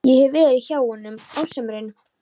Ég hef verið hjá honum á sumrin.